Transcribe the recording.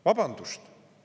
Vabandust!